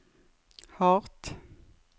hardt